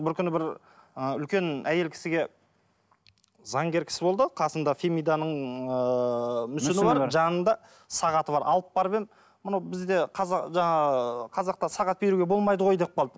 бір күні бір ыыы үлкен әйел кісіге заңгер кісі болды қасында фемиданың ыыы жанында сағаты бар алып барып едім мынау бізде қазақта сағат беруге болмайды ғой деп қалды